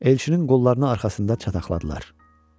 Elçinin qollarını arxasında çataqladılar.